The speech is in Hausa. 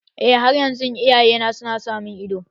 Eh, har yanzu iyayena su na sa mun ido